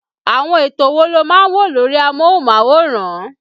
Àwọn ètò wo lo máa ń ń wò lórí amóhùnmáwòrán